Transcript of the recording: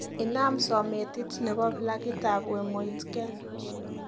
Inam sometit nebo plakitab wemoitgen